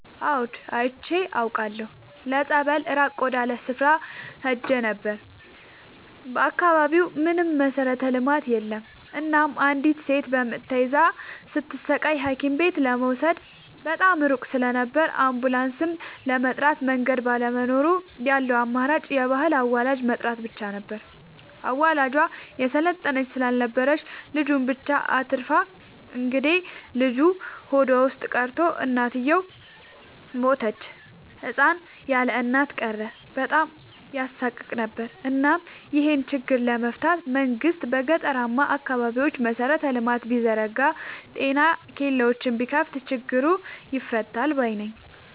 አዎድ አይቻለሁ ለፀበል ራቅ ወዳለ ስፍራ ሄጄ ነበር። በአካባቢው ምንም መሠረተ ልማት የለም እናም አንዲት እናት በምጥ ተይዛ ስትሰቃይ ሀኪምቤት ለመውሰድ በጣም ሩቅ ስለነበር አንቡላስም ለመጥራት መንገድ ባለመኖሩ ያለው አማራጭ የባህል አዋላጅ መጥራት ብቻ ነበር። አዋላጇ የሰለጠነች ስላልነበረች ልጁን ብቻ አትርፋ እንግዴልጁ ሆዷ ውስጥ ቀርቶ እናትየው ሞተች ህፃን ያለእናት ቀረ በጣም ያሳቅቅ ነበር እናም ይሄን ችግር ለመፍታት መንግስት በገጠራማ አካባቢዎች መሰረተ ልማት ቢዘረጋ ጤና ኬላዎችን ቢከፋት ችግሩ ይፈታል ባይነኝ።